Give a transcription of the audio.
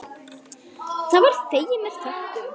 Það var þegið með þökkum.